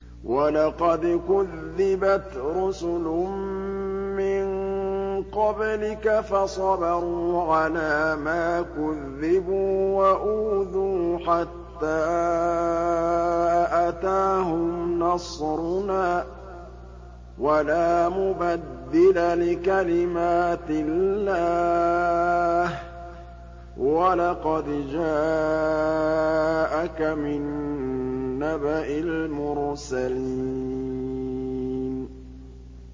وَلَقَدْ كُذِّبَتْ رُسُلٌ مِّن قَبْلِكَ فَصَبَرُوا عَلَىٰ مَا كُذِّبُوا وَأُوذُوا حَتَّىٰ أَتَاهُمْ نَصْرُنَا ۚ وَلَا مُبَدِّلَ لِكَلِمَاتِ اللَّهِ ۚ وَلَقَدْ جَاءَكَ مِن نَّبَإِ الْمُرْسَلِينَ